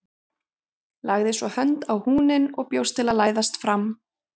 Lagði svo hönd á húninn og bjóst til að læðast fram.